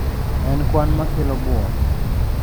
En kwan makelo bwok.